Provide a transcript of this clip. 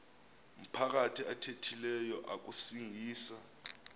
maphakathi athethileyo akusingisa